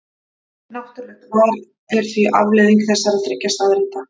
Náttúrlegt val er því afleiðing þessara þriggja staðreynda.